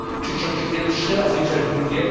Czy ciąć pierwsze, a zwiększać drugie?